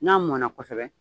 N'a mɔna kosɛbɛ